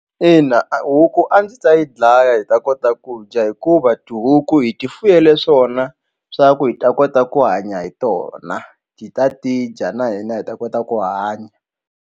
Ina a huku a ndzi ta yi dlaya hi ta kota ku dya hikuva tihuku hi ti fuyele swona swa ku hi ta kota ku hanya hi tona hi ta ti dya na hina hi ta kota ku hanya.